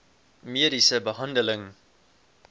mediese behandeling